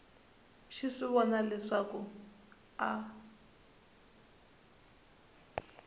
xi swi vona leswaku a